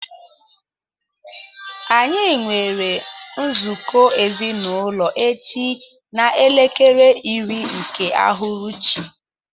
Anyi nwere nzụkọ ezinaụlọ echi na elekere iri nke ụhụrụchị.